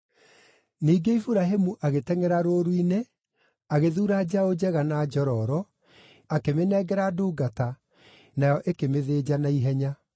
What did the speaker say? Ningĩ Iburahĩmu agĩtengʼera rũũru-inĩ, agĩthuura njaũ njega na njororo, akĩmĩnengera ndungata, nayo ĩkĩmĩthĩnja naihenya.